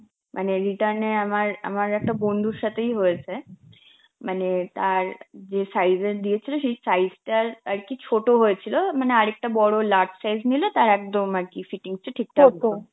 মানে return এ আমার~ আমার একটা বন্ধুর সাথেই হয়েছে, মানে তার যেই size এর দিয়েছিল সেই size টার আর কি ছোট হয়েছিল, মানে আরেকটা বড় large size নিলে তার একদম আর কি fitting টা ঠিকঠাক হতো.